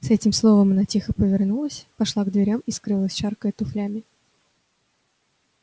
с этим словом она тихо повернулась пошла к дверям и скрылась шаркая туфлями